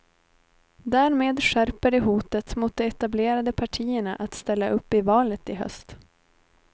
Därmed skärper de hotet mot de etablerade partierna att ställa upp i valet i höst.